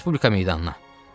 Respublika meydanına.